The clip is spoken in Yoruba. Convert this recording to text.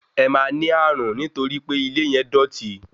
Ẹ máa ní ní ààrùn nítorí pe ilé yẹn dọ̀ti.